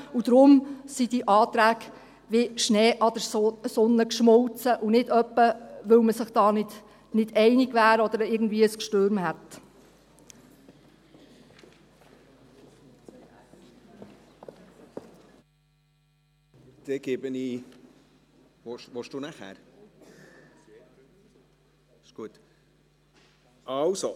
Daher sind diese Anträge wie Schnee an der Sonne geschmolzen, und nicht etwa, weil man sich da nicht einig wäre oder es grosse Diskussionen gegeben hätte.